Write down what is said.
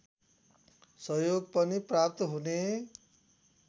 सहयोग पनि प्राप्त हुने